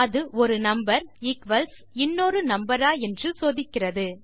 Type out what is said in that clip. அது ஒரு number equals இன்னொரு நம்பர் ஆ என்று சோதிக்கிறது